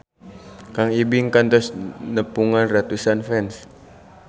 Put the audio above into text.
Kang Ibing kantos nepungan ratusan fans